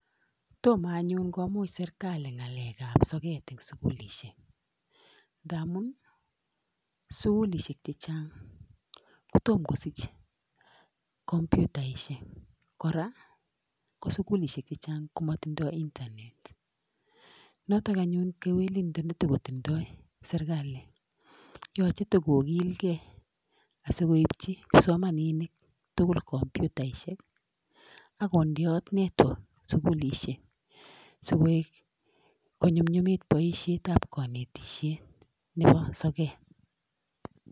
Toma anyun komuch serikali ng'alek ab soket eng' sugulishek nga amun sugulishek chechang' kotom kosich komputaishek, koraa ko sugulishek chechang' komatindoy Internet notok anyun kewelindo netiko tindoy serikali yoche tigokilgei asikoipchi kipsomaninik tugul komputaishek akonde at network sugulishek sikoet konyumnyumit boisiet ab kanetishiet nepo soket.